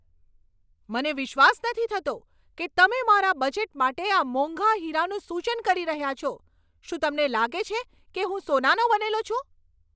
મને વિશ્વાસ નથી થતો કે તમે મારા બજેટ માટે આ મોંઘા હીરાનું સૂચન કરી રહ્યાં છો! શું તમને લાગે છે કે હું સોનાનો બનેલો છું?